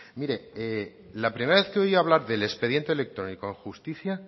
mire la primera vez que oí hablar del expediente electrónico en justicia